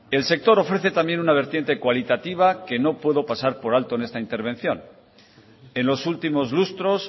el sector ofrece también una vertiente cualitativa que no puedo pasar por alto en esta intervención en los últimos lustros